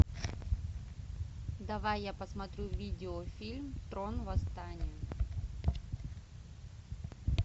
давай я посмотрю видеофильм трон восстание